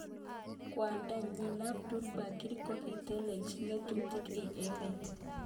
Kwondonyi Abdul Bari ko ki neteleljin ngatutik eng emet.